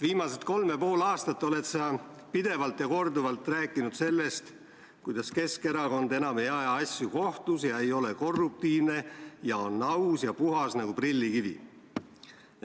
Viimased kolm ja pool aastat oled sa pidevalt ja korduvalt rääkinud sellest, kuidas Keskerakond enam ei aja asju kohtus ega ole korruptiivne ja on aus ja puhas nagu prillikivi.